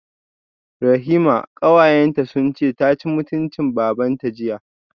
Rahima kawayenta sunce taci mutuncin babanta jiya